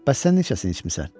Bəs sən neçəsini içmisən?